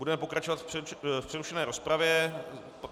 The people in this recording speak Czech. Budeme pokračovat v přerušené rozpravě.